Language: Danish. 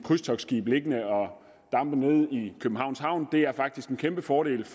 krydstogtskib liggende og dampe nede i københavns havn det er faktisk en kæmpe fordel